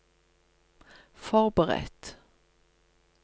forberedt